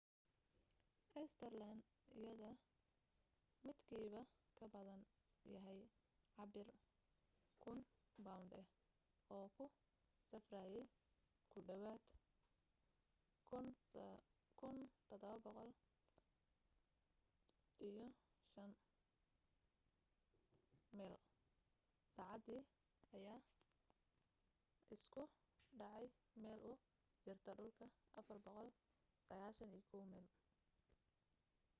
saterleed yada midkiiba kabadan yahay cabir 1,000 bownd ah oo ku safraye ku dhawaad 17,500 meyl saacadii ayaa isku dhacay meel u jirta dhulka 491 meyl